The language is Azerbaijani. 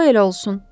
Qoy elə olsun.